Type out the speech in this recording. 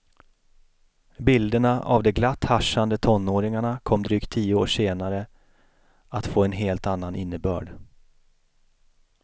Bilderna av de glatt haschande tonåringarna kom drygt tio år senare att få en helt annan innebörd.